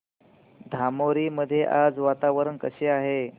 धामोरी मध्ये आज वातावरण कसे आहे